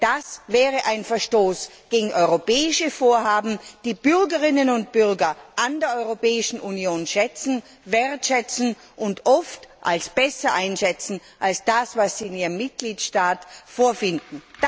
Denn das wäre ein Verstoß gegen europäische Vorhaben, die die Bürgerinnen und Bürger an der Europäischen Union schätzen, wertschätzen und oft als besser einschätzen als das, was sie in ihrem Mitgliedstaat vorfinden.